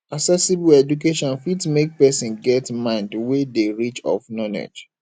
accessible education fit make persin get mind wey de rich of knowlegdge